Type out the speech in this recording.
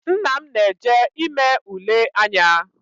Nna m na-eje ime ule anya